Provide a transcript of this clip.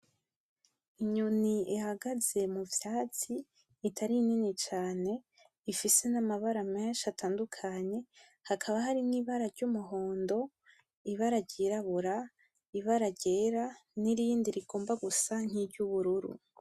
Inyoni ihagaze muvyatsi itari nini cane ifise n'amabara menshi atandukanye, hakaba harimwo Ibara ry'Umuhondo ; Ibara ryirabura ; Ibara ryera nirindi rigomba gusa nkiry'ubururu.